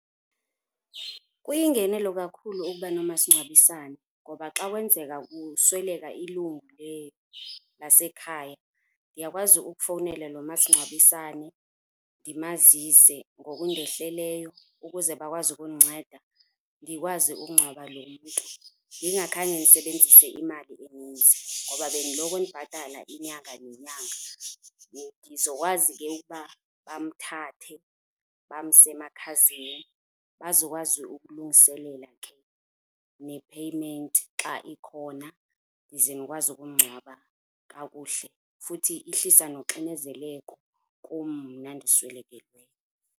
Kuyingenelo kakhulu ukuba nomasingcwabisane ngoba xa kwenzeka kusweleka ilungu lasekhaya ndiyakwazi ukufowunela lo masingcwabisane ndimazise ngokundehleleyo ukuze bakwazi ukundinceda ndikwazi ukungcwaba lo mntu ndingakhange ndisebenzise imali eninzi ngoba bengiloko ndibhatala inyanga nenyanga. Ngizokwazi ke bamthathe bamse emakhazini bazokwazi ukulungiselela ke ne-payment xa ikhona ndize ndikwazi ukumngcwaba kakuhle futhi ihlisa noxinezeleko kum mna ndiswelekelweyo.